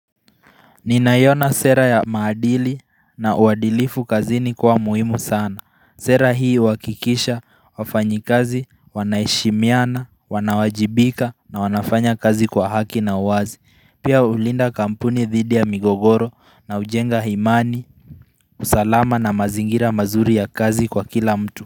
Ninaiona sera ya maadili na uadilifu kazini kuwa muhimu sana, sera hii huhakikisha wafanyi kazi wanaheshimiana, wanawajibika, na wanafanya kazi kwa haki na uwazi. Pia hulinda kampuni dhidi ya migogoro na hujenga imani usalama na mazingira mazuri ya kazi kwa kila mtu.